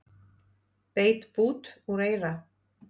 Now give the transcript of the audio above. Beit bút úr eyra